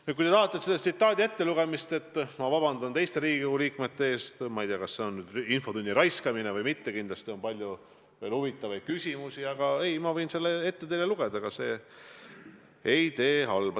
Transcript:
Nüüd, kui te tahate selle tsitaadi uuesti ettelugemist, siis ma vabandan teiste Riigikogu liikmete ees – ma ei tea, kas see on nüüd infotunni aja raiskamine või mitte, kindlasti on teil veel palju huvitavaid küsimusi –, aga ma võin selle veel kord ette lugeda, ega see ei tee halba.